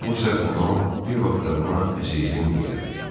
Bu səslə o bir vaxtlar ona "əzizim" deyərdi.